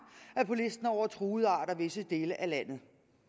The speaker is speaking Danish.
er på listen over truede arter i visse dele af landet